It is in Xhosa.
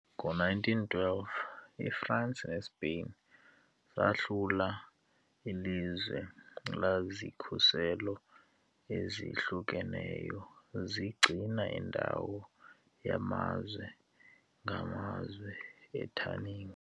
Ngo-1912, iFransi neSpain zahlula ilizwe lazikhuselo ezihlukeneyo, zigcina indawo yamazwe ngamazwe eTangier .